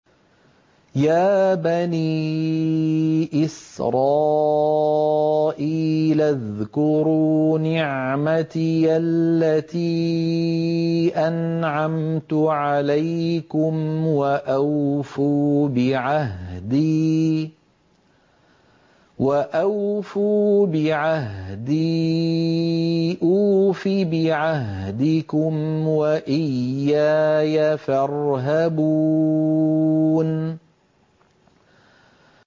يَا بَنِي إِسْرَائِيلَ اذْكُرُوا نِعْمَتِيَ الَّتِي أَنْعَمْتُ عَلَيْكُمْ وَأَوْفُوا بِعَهْدِي أُوفِ بِعَهْدِكُمْ وَإِيَّايَ فَارْهَبُونِ